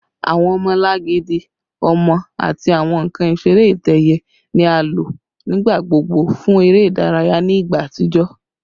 Awọn ọmọlangidi ọmọ ati awọn nkan isere itẹ-ẹiyẹ ni a lo nigbagbogbo fun ere idaraya ni igba atijọ